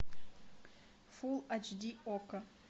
фул аш ди окко